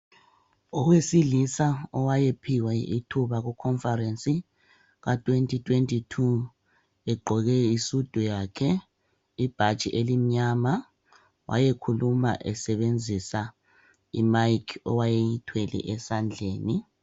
owesilisa owaye phiwe ithuba ku conference ka 2022,ugqoke isudu yakhe le bhatshi elimnyama ,wayekhuluma esebenzisa i mic owaye eyithwele esandleni